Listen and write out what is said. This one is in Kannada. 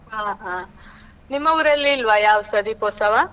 ಹಾ ಹಾ. ನಿಮ್ಮ ಉರಲ್ಲಿ ಇಲ್ವಾ ಯಾವುದ್ಸ ದೀಪೋತ್ಸವ?